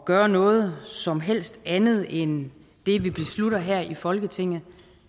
gøre noget som helst andet end det vi beslutter her i folketinget